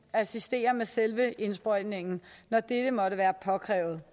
at assistere med selve indsprøjtningen når dette måtte være påkrævet